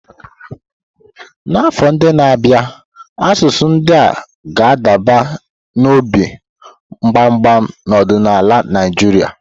N'afọ ndị na-abịa, asụsụ ndị a ga-adaba n'obi mgbama n'ọdịnala Naịjirịa.